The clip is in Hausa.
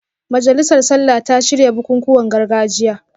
Majalisar Sallah ta shirya bukukuwan gargajiya